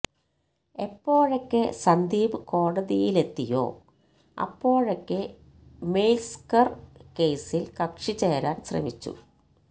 എപ്പോഴൊക്കെ സന്ദീപ് കോതിയിലെത്തിയോ അപ്പോഴൊക്കെ മെയ്സ്കര് കേസില് കക്ഷി ചേരാന് ശ്രമിച്ചു